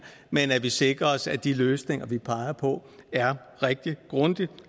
men at vi sikrer os at de løsninger vi peger på er rigtig grundigt